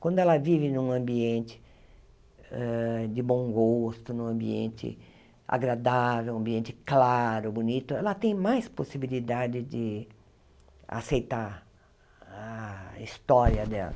Quando ela vive num ambiente hã de bom gosto, num ambiente agradável, um ambiente claro, bonito, ela tem mais possibilidade de aceitar a história dela.